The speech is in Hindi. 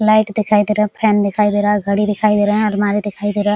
लाइट दिखाई दे रहा है फैन दिखाई दे रहा है घड़ी दिखाई दे रहा है अलमारी दिखाई दे रहे है।